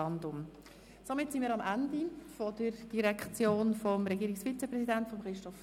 Damit sind wir am Ende der Geschäfte der JGK angelangt.